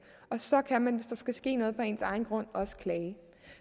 og så kan man hvis skal ske noget på ens egen grund også klage